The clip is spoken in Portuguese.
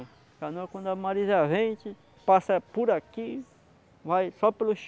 A canoa quando a Marizia vem, a gente passa por aqui, vai só pelos